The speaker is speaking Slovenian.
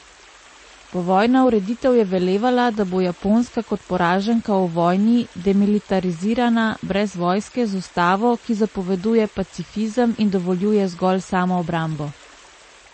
Povojna ureditev je velevala, da bo Japonska kot poraženka v vojni demilitarizirana, brez vojske, z ustavo, ki zapoveduje pacifizem in dovoljuje zgolj samoobrambo.